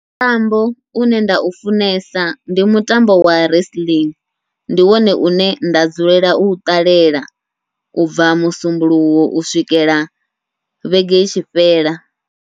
Mutambo une nda u funesa ndi mutambo wa wrestling, ndi wone une nda dzulela u ṱalela ubva musumbuluwo u swikela vhege itshi fhela.